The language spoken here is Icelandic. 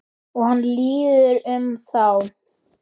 Og hann líður um þá.